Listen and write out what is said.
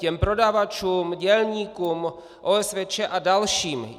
Těm prodavačům, dělníkům, OSVČ a dalším.